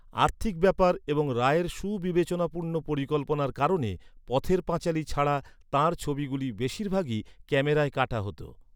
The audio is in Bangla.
আর্থিক ব্যাপার এবং রায়ের সুবিবেচনাপূর্ণ পরিকল্পনার কারণে, পথের পাঁচালী ছাড়া তাঁর ছবিগুলি বেশিরভাগই ক্যামেরায় কাটা হত।